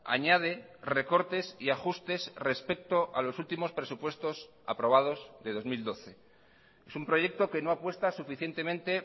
añade recortes y ajustes respecto a los últimos presupuestos aprobados de dos mil doce es un proyecto que no apuesta suficientemente